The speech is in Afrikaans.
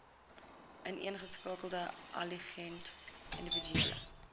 ineengeskakelde aligned individuele